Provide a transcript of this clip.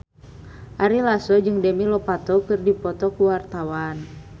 Ari Lasso jeung Demi Lovato keur dipoto ku wartawan